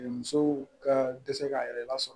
Musow ka dɛsɛ k'a yɛrɛ lasɔrɔ